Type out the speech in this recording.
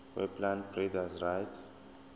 weplant breeders rights